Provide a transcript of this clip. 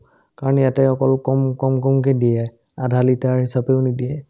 কাৰণ ইয়াতে অকল কম কম কম্কে দিয়ে আধালিটাৰ হিচাপেও নিদিয়ে